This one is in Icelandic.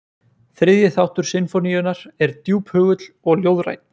Þriðju þáttur sinfóníunnar er djúphugull og ljóðrænn.